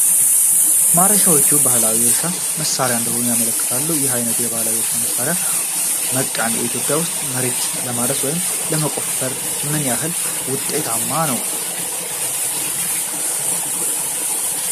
ማረሻዎቹ ባህላዊ የእርሻ መሳሪያዎች እንደሆኑ ያመለክታሉ። ይህ ዓይነቱ ባህላዊ የእርሻ መሳሪያ (መቃን) በኢትዮጵያ ውስጥ መሬትን ለማረስ ወይም ለመቆፈር ምን ያህል ውጤታማ ነው?